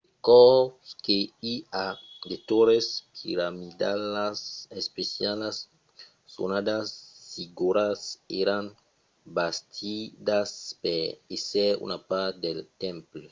de còps que i a de torres piramidalas especialas sonadas zigorats èran bastidas per èsser una part dels temples